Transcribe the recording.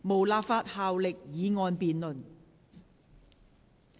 無立法效力的議案辯論。